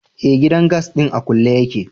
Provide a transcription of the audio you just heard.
Eh, gidan gas din a kulle yake.